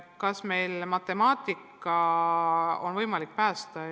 Kas on võimalik päästa matemaatika?